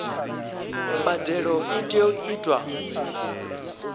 mbadelo i tea u itwa